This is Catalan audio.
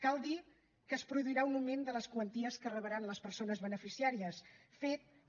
cal dir que es produirà un augment de les quanties que rebran les persones beneficiàries fet que